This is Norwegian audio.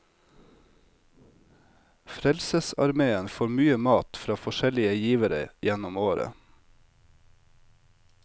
Frelsesarmeen får mye mat fra forskjellige givere gjennom året.